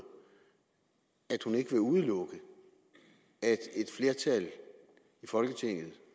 at udelukke at et flertal i folketinget